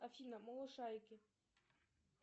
афина малышарики